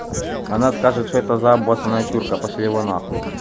она скажет что это за обоссанная чурка пошли его на хуй